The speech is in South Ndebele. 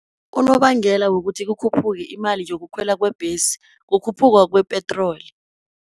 Unobangela wokuthi kukhuphuka imali yokukhwela kwembhesi, kukhuphuka kwe -petroli.